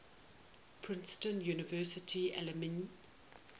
princeton university alumni